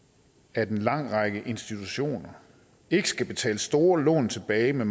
at en lang række institutioner ikke skal betale store lån tilbage med